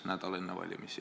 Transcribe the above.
Nädal enne valimisi!